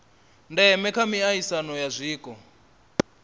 ndeme kha miaisano ya zwiko